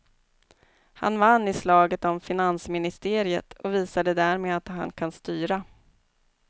Han vann i slaget om finansministeriet och visade därmed att han kan styra.